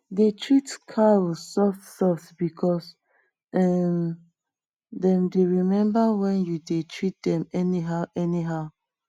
dey treat cows soft soft because um dem dey remember when you u dey treat dem any how any how